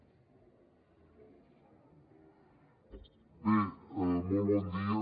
bé molt bon dia